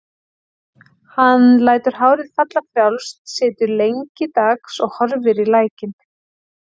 Hann lætur hárið falla frjálst, situr lengi dags og horfir í lækinn.